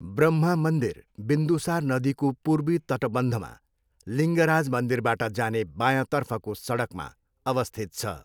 ब्रह्मा मन्दिर बिन्दुसार नदीको पूर्वी तटबन्धमा, लिङ्गराज मन्दिरबाट जाने बायाँतर्फको सडकमा अवस्थित छ।